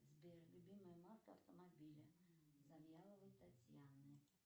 сбер любимая марка автомобиля завьяловой татьяны